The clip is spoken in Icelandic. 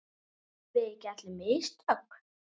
Gerum við ekki allir mistök?